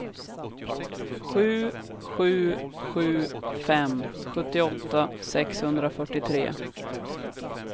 sju sju sju fem sjuttioåtta sexhundrafyrtiotre